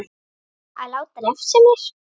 Að láta refsa mér?